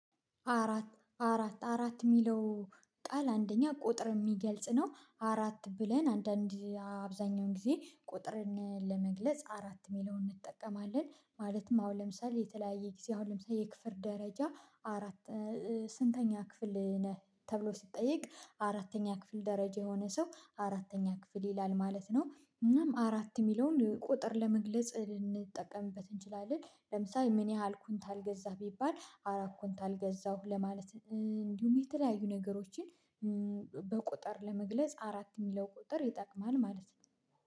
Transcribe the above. አራት አራት አራት የሚለው ጣል አንደኛ ቁጥር የሚገልጽ ነው አራት ብለን አንዳንድ አብዛኛውን ጊዜ ቁጥርን ለመግለጽ አራት ሚላውን እንጠቀማለን ማለትም አሁን ለምሳሌ የተለያየ ጊዜ አሁን ለምሳሌ የክፍል ደረጃ አራት ስንተኛ ክፍል ነህ ተብሎ ሲጠየቅ አራተኛ ክፍል ደረጃ የሆነ ሰው አራተኛ ክፍል ይላል ማለት ነው። እናም አራት የሚለውን ቁጥር ለመግለጽ ልንጠቀምበት እንችላለን ለምሳሌ ምን ያህል ኩንታል ገዛህ? ቢባል አራት ኩንታል ገዛሁ ለማለት እንዲሁም የተለያዩ ነገሮችን በቁጥር ለመግለጽ አራት የሚለው ቁጥር ይጠቅማል ማለት ነው